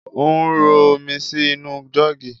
Ò ń rọ omi sì inú jọ́ọ́gì